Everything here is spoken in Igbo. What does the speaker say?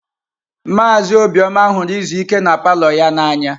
Maazị Obioma ihuru izu ike na palọ ya n'anya.